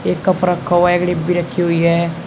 एक कप रखा हुआ है एक डिब्बी रखी हुई है।